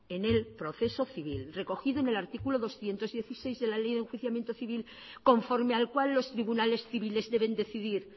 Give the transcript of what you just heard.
en el proceso civil recogido en el artículo doscientos dieciséis de la ley de enjuiciamiento civil conforme al cual los tribunales civiles deben decidir